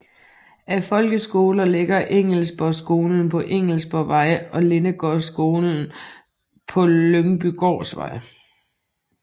Af folkeskoler ligger Engelsborgskolen på Engelsborgvej og Lindegårdsskolen på på Lyngbygårdsvej